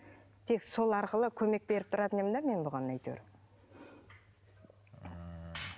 тек сол арқылы көмек беріп тұратын едім де мен бұған әйтеуір ммм